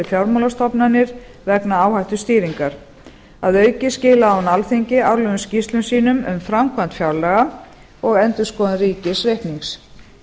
fjármálastofnanir vegna áhættustýringar að auki skilaði hún alþingi árlegum skýrslum sínum um framkvæmd fjárlaga og endurskoðun ríkisreiknings